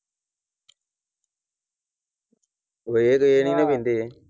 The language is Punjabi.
ਉਹ ਇਹ ਤੇ ਇਹ ਨਹੀਂ ਓ ਵਹਿੰਦੇ।